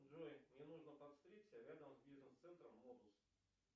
джой мне нужно подстричься рядом с бизнес центром глобус